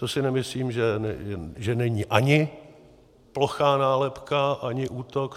To si myslím, že není ani plochá nálepka, ani útok.